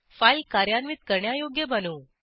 file कार्यान्वित करण्यायोग्य बनवू